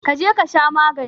Kaje kasha maganin.